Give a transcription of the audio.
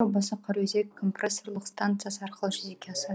қараөзек компрессорлық станциясы арқылы жүзеге асады